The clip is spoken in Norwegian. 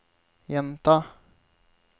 gjenta